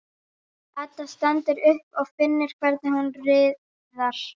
Edda stendur upp og finnur hvernig hún riðar.